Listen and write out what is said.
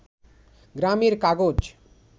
গ্রামের কাগজ